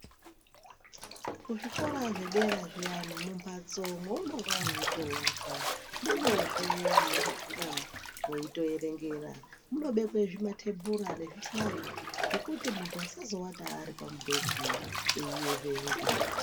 Kuzvikora zvedera zviyani mumbatso mweunonga weitowata ndimwozve munonga mwei toerengera munobekwe zvima thebhura nezvihlayo zvekuti muntu asazowata ari pamubhedhu eierenga.